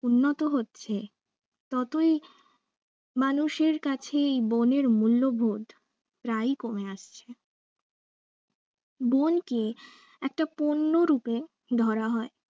উন্নত হচ্ছে ততই মানুষের কাছে এই বনের মূল্যবোধ প্রায় কমে আসছে বনকে একটা পণ্য রূপে ধরা হয়